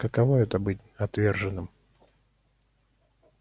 каково это быть отверженным